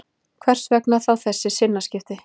Hvers vegna þá þessi sinnaskipti